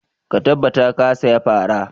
Ka tabbata ka saya fara!